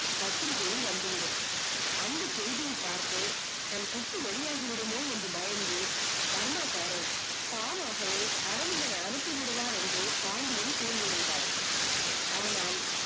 பத்திரிகையில் வந்து விடும் அந்த செய்தியை பார்த்து தனது கூட்டு வெளியாகி விடுமோ என பயந்து பர்மா காரர் தானாகவே அரவிந்தனை அனுப்பி விடுவார் என்று பாண்டியன் கூறி இருந்தார் ஆனால்